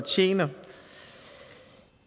tjener